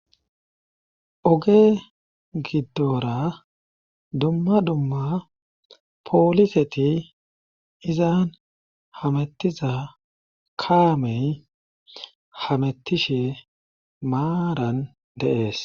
Oge giddoora dumma dumma pooliseti izaan hamettiza kaamey hamettishe maaran de7ees.